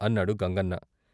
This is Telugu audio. " అన్నాడు గంగన్న.